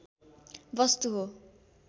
वस्तु हो